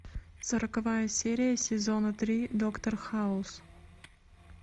сороковая серия сезона три доктор хаус